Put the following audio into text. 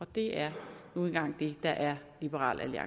det er nu engang det der er liberal